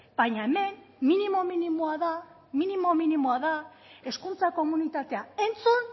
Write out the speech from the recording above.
baina hemen minimo minimoa da minimo minimoa da hezkuntza komunitatea entzun